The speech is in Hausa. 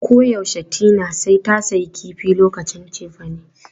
Koyaushe Tina sai ta sayi kifi lokacin cefane.